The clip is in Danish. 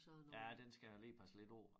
Ja den skal jeg lige passe lidt på